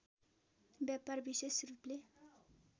व्यापार विशेष रूपले